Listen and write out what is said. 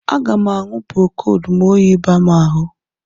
Aga m aṅụ Prokod ma oyi baa m ahụ